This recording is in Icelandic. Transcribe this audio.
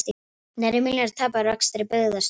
Nærri milljarðs tap á rekstri Byggðastofnunar